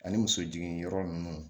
Ani muso jigin yɔrɔ nunnu